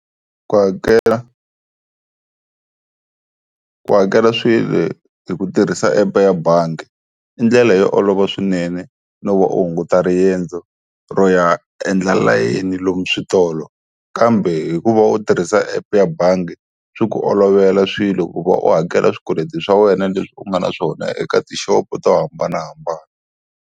Ku hakela ku hakela swilo hi ku tirhisa app ya bangi i ndlela yo olova swinene no va u hunguta riendzo ro ya endla layeni lomu switolo, kambe hikuva u tirhisa app ya bangi swi ku olovela swilo ku va u hakela swikweleti swa wena leswi u nga na swona eka tixopo to hambanahambana.